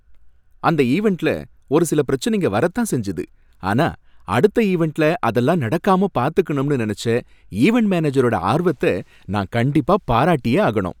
அந்த ஈவண்ட்ல ஒரு சில பிரச்சனைங்க வரத் தான் செஞ்சது, ஆனா அடுத்த ஈவண்ட்ல அதல்லாம் நடக்காம பார்த்துக்கணும்னு நினைச்ச ஈவண்ட் மேனேஜரோட ஆர்வத்த நான் கண்டிப்பா பாராட்டியே ஆகணும்.